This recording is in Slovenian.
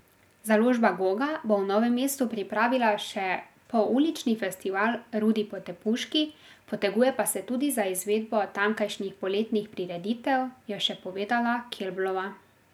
Založba Goga bo v Novem mestu pripravila še poulični festival Rudi Potepuški, poteguje pa se tudi za izvedbo tamkajšnjih poletnih prireditev, je še povedala Kelblova.